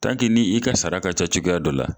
Tanke n'i ka sara ka ca cogoyaya dɔ la